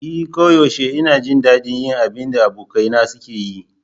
E koyaushe ina jin daɗin yin abin da abokaina suke yi.